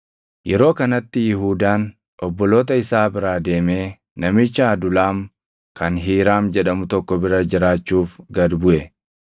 Yeroo kanatti Yihuudaan obboloota isaa biraa deemee namicha Adulaam kan Hiiraam jedhamu tokko bira jiraachuuf gad buʼe.